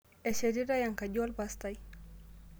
Eshetitai enkaji olpastai